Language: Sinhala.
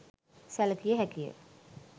සැලකිය හැකිය